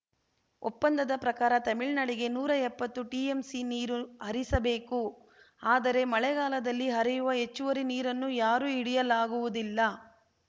ಒಪ್ಪಂದದ ಪ್ರಕಾರ ತಮಿಳ್ನಾಡಿಗೆ ನೂರಾ ಎಪ್ಪತ್ತು ಟಿಎಂಸಿ ನೀರು ಹರಿಸಬೇಕು ಆದರೆ ಮಳೆಗಾಲದಲ್ಲಿ ಹರಿಯುವ ಹೆಚ್ಚುವರಿ ನೀರನ್ನು ಯಾರೂ ಹಿಡಿಯಲಾಗುವುದಿಲ್ಲ